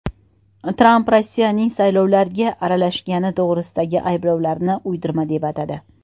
Tramp Rossiyaning saylovlarga aralashgani to‘g‘risidagi ayblovlarni uydirma deb atadi.